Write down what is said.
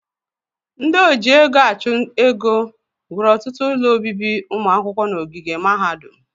Ndị oji ego achụ ego wuru ọtụtụ ụlọ obibi ụmụ akwụkwọ n'ogige mahadum